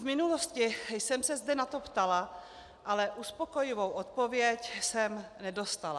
V minulosti jsem se zde na to ptala, ale uspokojivou odpověď jsem nedostala.